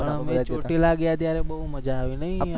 અમે ચોટીલા ગયા ત્યારે બહુ મજા આવી નાહી અમે